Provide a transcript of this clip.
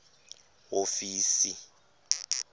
hofisi